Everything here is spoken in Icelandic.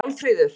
Málfríður